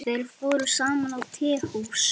Þeir fóru saman á tehús.